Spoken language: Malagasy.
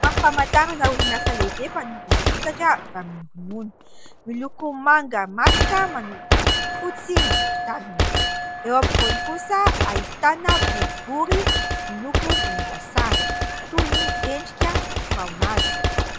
Sary famantarana orinasa lehibe mpanodina vokatra avy amin'ny ronono. Miloko manga matroka manopy fotsy ny tokotaniny ; eo ampovoany kosa ahitana boribory miloko volomboasary toy ny endrika fraomazy.